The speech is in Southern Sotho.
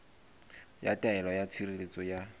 ya taelo ya tshireletso ya